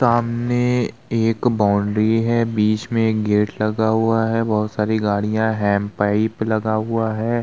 सामने एक बाउंड्री है बीच में एक गेट लगा हुआ है बहोत सारी गाड़िया हैंड पाइप लगा हुआ है।